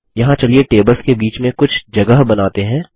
यहाँ चलिए टेबल्स के बीच में कुछ जगह बनाते हैं